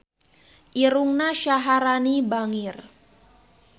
Irungna Syaharani bangir